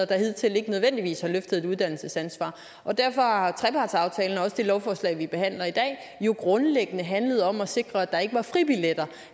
der hidtil ikke nødvendigvis har løftet et uddannelsesansvar derfor har trepartsaftalen og også det lovforslag som vi behandler i dag jo grundlæggende handlet om at sikre at der ikke var fribilletter